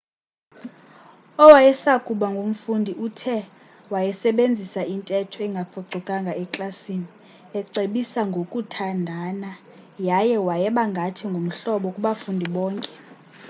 owayesakuba ngumfundi uthe wayesebenzisa intetho engaphucukanga eklasini ecebisa ngokuthandana yaye wayeba ngathi ngumhlobo kubafundi bakhe